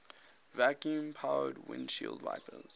vacuum powered windshield wipers